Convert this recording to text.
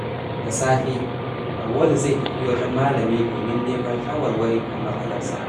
Da safe, Auwalu zai tafi wajen malami domin neman shawarwari kan matsalarsa.